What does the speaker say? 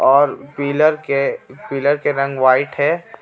और पिलर के पिलर के रंग वाइट हे.